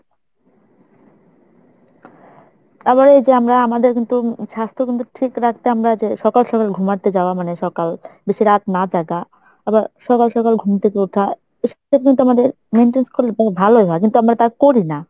আবার এই যে আমরা আমাদের কিন্তু স্বাস্থ্য কিন্তু ঠিক রাখতে আমরা যে সকাল সকাল ঘুমাতে যাওয়া মানে সকাল বেশি রাত না জাগা আবার সকাল সকাল ঘুম থেকে উঠা এসব কিন্তু আমাদের maintain করলে পরে ভালোই হয় কিন্তু আমরা তা করি না।